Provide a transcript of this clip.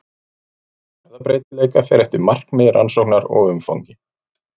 Fjöldi erfðabreytileika fer eftir markmiði rannsóknar og umfangi.